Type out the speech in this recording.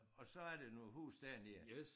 Og så er der nogle huse dernede